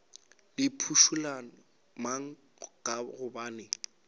le phušula mang ka gobane